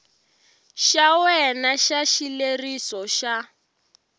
xa wena xa xileriso xa